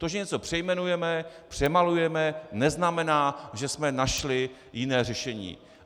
To, že něco přejmenujeme, přemalujeme, neznamená, že jsme našli jiné řešení.